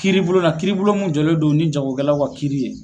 Kiribulon na kiribulon mun jɔlen don ni jagokɛlaw ka kiiri ye.